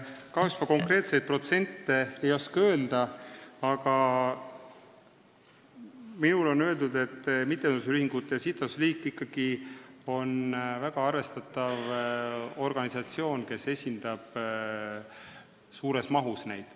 Kahjuks ma konkreetseid protsente ei oska öelda, aga mulle on öeldud, et mittetulundusühingute ja sihtasutuste liit on ikkagi väga arvestatav organisatsioon, kes esindab neid ühinguid suures mahus.